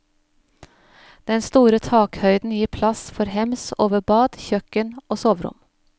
Den store takhøyden gir plass for hems over bad, kjøkken og soverom.